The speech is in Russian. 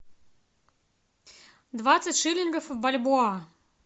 двадцать шиллингов в бальбоа